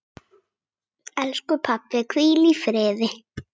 Elsku pabbi, hvíl í friði.